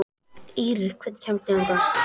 Ýrr, hvernig kemst ég þangað?